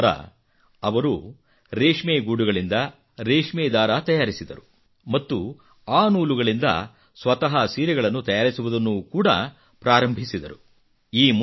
ಇದಾದ ನಂತರ ಅವರು ರೇಷ್ಮೆ ಗೂಡುಗಳಿಂದ ರೇಷ್ಮೆ ದಾರ ತಯಾರಿಸಿದರು ಮತ್ತು ಆ ನೂಲುಗಳಿಂದ ಸ್ವತಃ ಸೀರೆಗಳನ್ನು ತಯಾರಿಸುವುದನ್ನು ಕೂಡಾ ಪ್ರಾರಂಭಿಸಿದರು